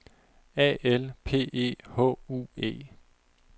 A L P E H U E